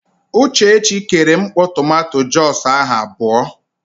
Uchechi kere mkpọ tomanto jọs ahụ abụọ.